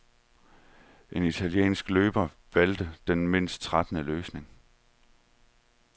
En italiensk løber valgte den mindst trættende løsning.